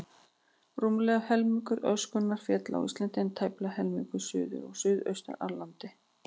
Rúmlega helmingur öskunnar féll á Íslandi, en tæplega helmingur suður og suðaustur af landinu.